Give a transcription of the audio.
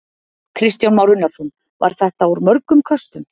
Kristján Már Unnarsson: Var þetta úr mörgum köstum?